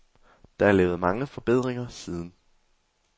Der er lavet mange forbedringer siden.